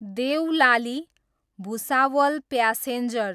Deolali, Bhusawal passenger